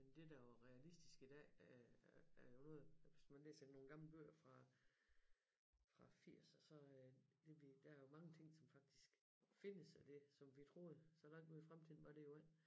Men det der jo er realistisk i dag er er jo noget hvis man læser nogle gamle bøger fra fra 80'er så det der er jo mange ting som faktisk findes af det som vi troede så langt ude i fremtiden var det jo ikke